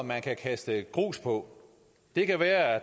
man kan kaste grus på det kan være at